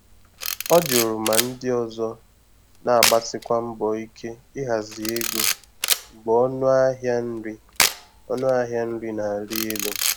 Ọ jụrụ ma ndị ọzọ na-agbasikwa mbọ ike ịhazi ego mgbe ọnụ ahịa nri ọnụ ahịa nri na-arị elu.